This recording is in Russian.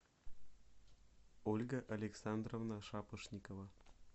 ольга александровна шапошникова